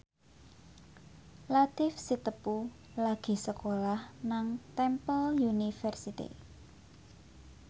Latief Sitepu lagi sekolah nang Temple University